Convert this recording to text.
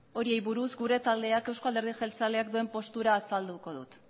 horiei buruz gure taldeak euzko alderdi jeltzaleak duen postura azalduko dut